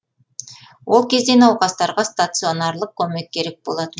ол кезде науқастарға стационарлық көмек керек болатын